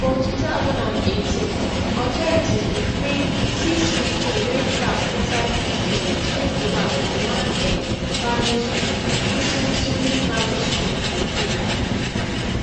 for two thousand and eighteen authorities bin free six pikin wey trap inside pit toilet wey collapse for one um primary school kisulisuli primary school school for kenya